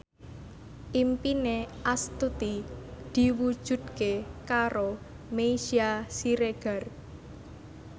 impine Astuti diwujudke karo Meisya Siregar